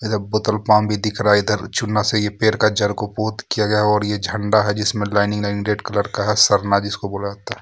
Petrol pump भी दिख रहा है इधर चूना से पेड़ का जड़ पोत किया गया है यह झंडा है जिसमें लाइनिंग लाइनिंग रेड कलर का जिसको बोला जाता है.